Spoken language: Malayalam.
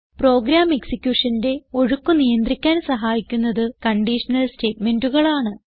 പ്രോഗ്രാം executionന്റെ ഒഴുക്ക് നിയന്ത്രിക്കാൻ സഹായിക്കുന്നത് കണ്ടീഷണൽ സ്റ്റേറ്റ്മെന്റുകളാണ്